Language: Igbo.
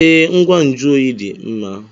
Ee, ngwa nju oyi dị mma.